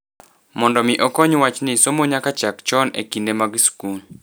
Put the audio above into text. Mondo mi okony wachni somo nyaka chak chon e kinde mag skul.